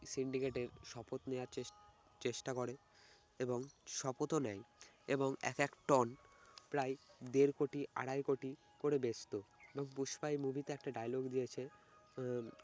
syndicate এ শপথ নেওয়ার chess~ চেষ্টা করে এবং শপথও নেয় এবং এক এক টন প্রায় দেড় কোটি আড়াই কোটি করে বেচতো। তো পুষ্পা এই মুভিতে একটা dialogue দিয়েছে আহ